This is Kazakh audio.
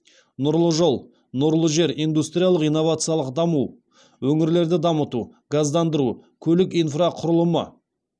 нұрлы жол нұрлы жер индустриялық инновациялық даму өңірлерді дамыту газдандыру көлік инфрақұрылымы